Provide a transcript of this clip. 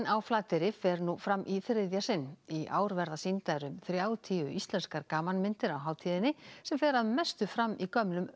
á Flateyri fer nú fram í þriðja sinn í ár verða sýndar um þrjátíu íslenskar gamanmyndir á hátíðinni sem fer að mestu fram í gömlum